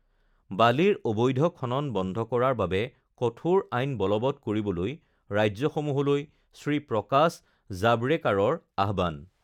বালিৰ অবৈধ খনন বন্ধ কৰাৰ বাবে কঠোৰ আইন বলবত্ কৰিবলৈ ৰাজ্যসমূহলৈ শ্ৰী প্ৰকাশ জাৱড়েকাৰৰ আহ্বান